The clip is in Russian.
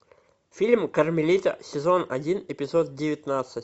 фильм кармелита сезон один эпизод девятнадцать